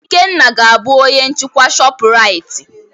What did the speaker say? Ikenna ga-abụ onye nchikwa Shọpụraiti.